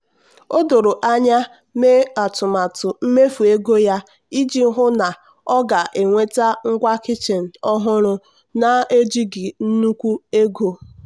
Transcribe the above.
o doro anya mee atụmatụ mmefu ego ya iji hụ na ọ ga-enweta ngwa kichin ọhụrụ na-ejighi nnukwu ego.